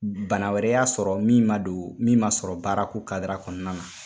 Bana wɛrɛ y'a sɔrɔ min ma don, min ma sɔrɔ baara ko kadira kɔnɔna na.